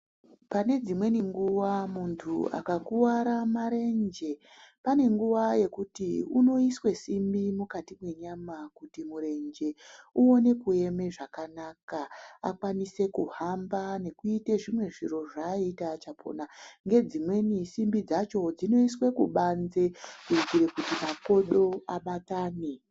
Pane dzimweni nguwa muntu akakuwara marenje pane nguwa yekuti unoiswe simbi mukati mwenyama kuti murenje uone kueme zvakanaka akwanise kuhamba nekuite zvimwe zviro zvaaiita achapona. Ngedzimweni simbi dzacho dzinoiswe kubanze kuitire kuti makodo abatane.